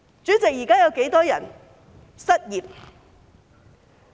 主席，現時有多少人失業？